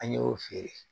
An y'o feere